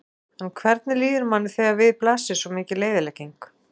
En hvernig líður manni þegar við blasir svo mikil eyðilegging?